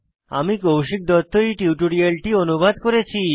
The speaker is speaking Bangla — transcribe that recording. আমি কৌশিক দত্ত এই টিউটোরিয়ালটি অনুবাদ করেছি